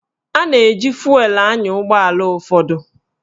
A na-eji fụelụ anya ụgbọala ụfọdụ